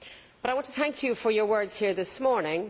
Well, I want to thank you for your words here this morning.